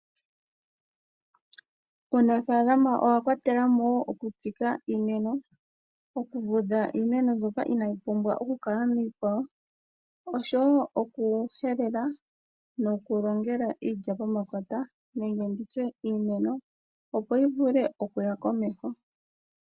Uunafaalama owa kwatelamo wo oku tsika iimeno, oku vudha iimeno mbyoka inayi pumbwa oku kala miikwawo osho wo oku helela noku longela iilya po makota nenge nditye iimeno opo yi vule okuya komeho.